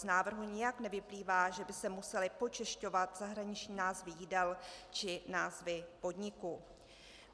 Z návrhu nijak nevyplývá, že by se musely počešťovat zahraniční názvy jídel či názvy podniků.